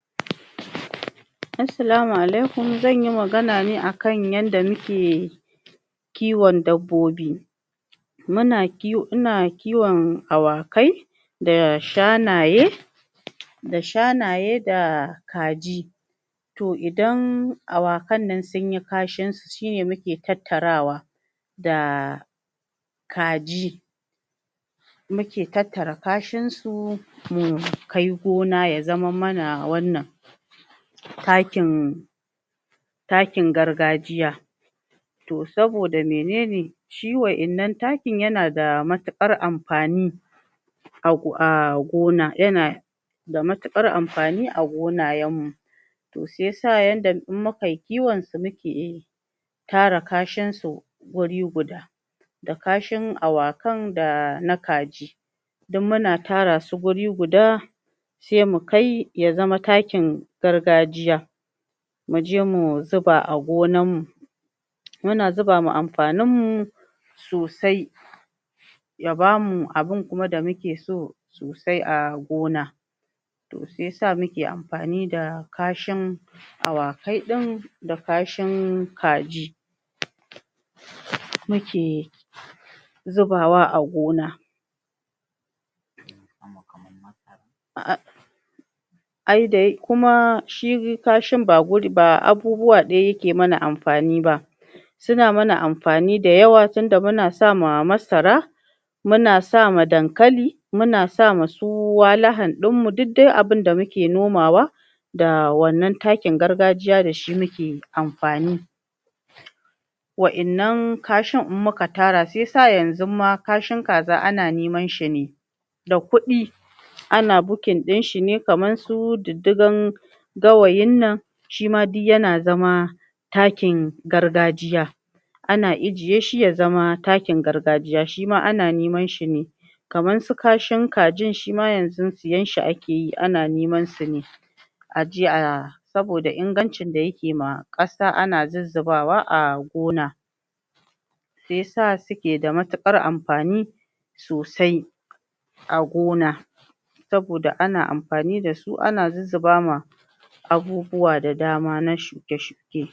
Assalamu alaikum zan yi magana ne akan yanda muke kiwon dabbobi muna..... ina kiwon awakai da shanaye da shanaye da kaji to idan awakan nan sunyi kashin su shine muke tattarawa da kaji muke tattara kashinsu mukai gona ya zamar mana wannan takin takin gargajiya to saboda menene shi wa'anan taki yana da matukar amfani a gona... yana da matukar amfani a gona to shiyasa yanda in muakyi kiwon su muke... tara kashinsu guri guda da kashin awakan dana kaji duk muna tarawa guri guda sai mukai ya zama takin gargajiya muje mu zuba a gonan mu muna zuba ma amfanin mu sosai ya bamu abin kuma da muke so sosai a gona shiyasa muke amfani da awakai din da kashin kaji muke zubawa a gona ahhh... ai da ya.....kuma kashin ba a abubuwa ɗaya yake mana amfani ba suna mana amfani da yawa tinda muna sama masara muna sama dankali, dasu walahan dinmu dikdai abin da muke nomawa da wannan takin gargajiya da shi muke amfani wa'annan kashin in muka tara, shiyasa wannan kashin ma kaza ma ana neman sane da kuɗi ana booking dinshe nema kaman su diddiga gawayin nan,, shima yana zama takin gargajiya ana ajiye shi, zama takin gargajiya shima ana neman sane kaman su kashin kajin shima siyanshi ake ana neman shine aje a.... saboda ingancin da yake ma kasa ana zuzobawa a gona shiyasa suke da matukar amfani sosai a gona saboda ana amfani dasu ana zuzuba ma abubuwa da dama na shuke shuke